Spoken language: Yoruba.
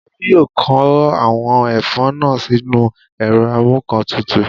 Olú yóò kó àwọn ẹ̀fọ́ náà sínú ẹ̀rọ amúǹkantutù